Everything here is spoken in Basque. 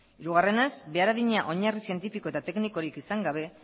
hirugarrenez behar adina oinarri zientifiko eta teknikorik izan gabe